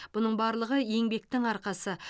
бұның барлығы еңбектің арқасы